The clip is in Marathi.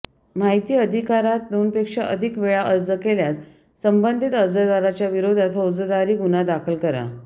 माहिती अधिकारात दोनपेक्षा अधिक वेळा अर्ज केल्यास संबंधित अर्जदाराच्या विरोधात फौजदारी गुन्हा दाखल करा